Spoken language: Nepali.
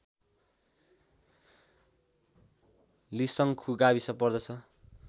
लिसङ्खु गाविस पर्दछ